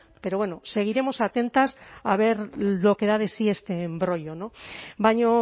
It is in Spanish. pero bueno seguiremos atentos a ver lo que da de sí este embrollo baina